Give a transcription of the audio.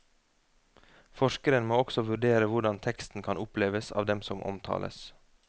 Forskeren må også vurdere hvordan teksten kan oppleves av dem som omtales.